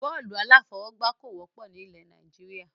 Bọ́ọ́lù alafọ̀wọ́gba kò wọ́pọ̀ ni ilẹ̀ Nàìjíríà.